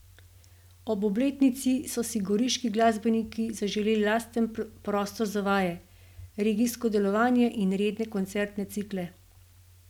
Ob obletnici so si goriški glasbeniki zaželeli lasten prostor za vaje, regijsko delovanje in redne koncertne cikle.